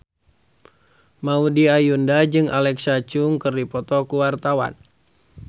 Maudy Ayunda jeung Alexa Chung keur dipoto ku wartawan